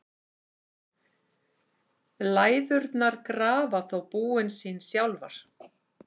Læðurnar grafa þó búin sín sjálfar.